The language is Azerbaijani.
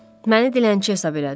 məni dilənçi hesab elədin.